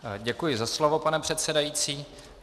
Děkuji za slovo, pane předsedající.